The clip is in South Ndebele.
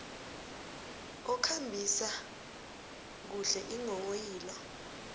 okhambisa kuhle iinghonghoyilo